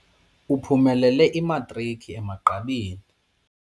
Uphumelele imatriki emagqabini.